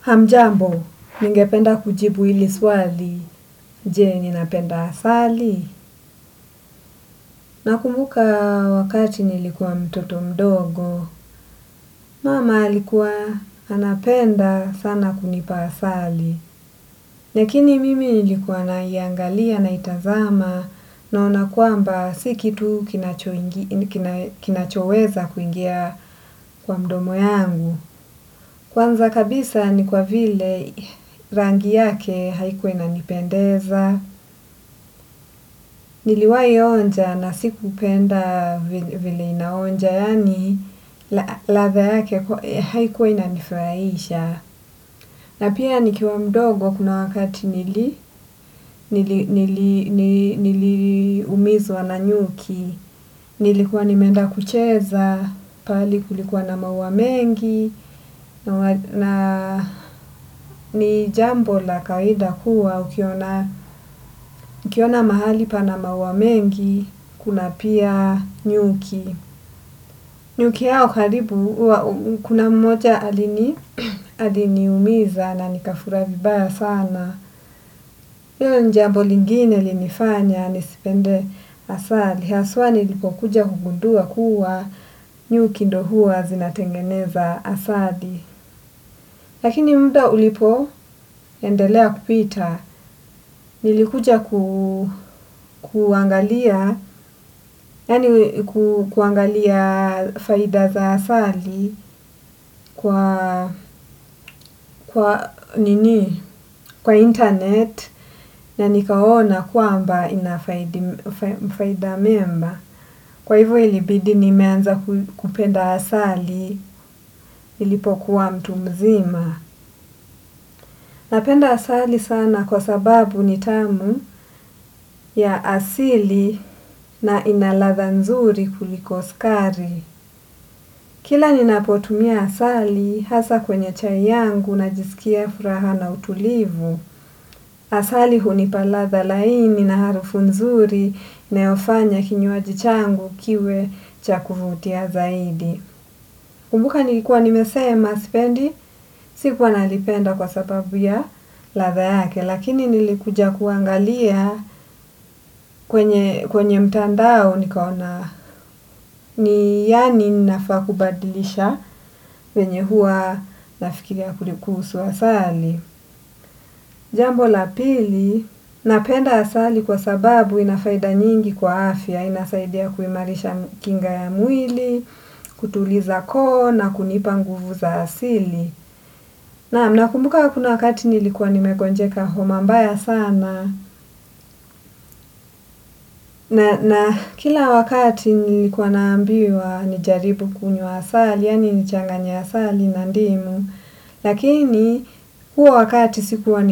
Hamjambo, ningependa kujibu hili swali, jee ninapenda asali. Nakumbuka wakati nilikuwa mtoto mdogo, mama alikuwa anapenda sana kunipa asali. Lakini mimi nilikuwa naiangalia naitazama naona kwamba si kitu kinachoweza kuingia kwa mdomo yangu. Kwanza kabisa ni kwa vile rangi yake haikuwa inanipendeza, niliwahi onja na sikupenda vile inaonja, yani ladha yake haikuwa inanifurahisha. Na pia nikiwa mdogo kuna wakati nili nili umizwa na nyuki, nilikuwa nimenda kucheza, pahali kulikuwa na maua mengi, na ni jambo la kawaida huwa ukiona mahali pana maua mengi, kuna pia nyuki. Nyuki hao karibu, kuna mmoja aliniumiza na nikafura vibaya sana. Hiyo ni jambo lingine ilinifanya, nisipende asali. Haswa nilipo kuja kugundua kuwa nyuki ndo huwa zinatengeneza asali. Lakini muda ulipo endelea kupita. Nilikuja kuangalia faida za asali kwa internet na nikaona kwamba ina faida mema. Kwa hivo ilibidi nimeanza kupenda asali nilipokuwa mtu mzima. Napenda asali sana kwa sababu ni tamu ya asili na ina ladha nzuri kuliko sukari. Kila ninapotumia asali, hasa kwenye chai yangu najisikia furaha na utulivu. Asali hunipa ladha laini na harufu nzuri inayofanya kinywaji changu kiwe cha kuvutia zaidi. Kumbuka nilikuwa nimesema sipendi, sikuwa nalipenda kwa sababu ya ladha yake, lakini nilikuja kuangalia kwenye mtandao nikaona, ni yani nafaa kubadilisha venye huwa nafikiria kuli kuhusu asali. Jambo la pili, napenda asali kwa sababu ina faida nyingi kwa afya, inasaidia kuimarisha kinga ya mwili, kutuliza koo na kunipa nguvu za asili. Nam nakumbuka kuna wakati nilikuwa nimegonjeka homa mbaya sana. Na kila wakati nilikuwa naambiwa nijaribu kunywa asali, yani nichanganye asali na ndimu. Lakini, huo wakati sikuwa